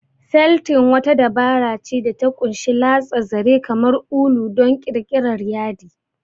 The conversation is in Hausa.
Feltin wata dabara ce da ta ƙunshi latsa zare, kamar ulu, don ƙirƙirar yadi.